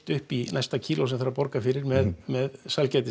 upp í næsta kíló sem þarf að borga fyrir með með sælgæti